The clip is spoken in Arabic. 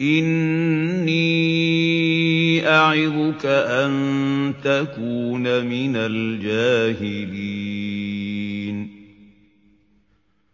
إِنِّي أَعِظُكَ أَن تَكُونَ مِنَ الْجَاهِلِينَ